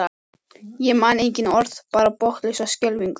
Ég man engin orð, bara botnlausa skelfingu.